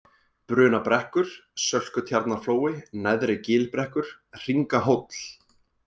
Brunabrekkur, Sölkutjarnarflói, Neðri-Gilbrekkur, Hringahóll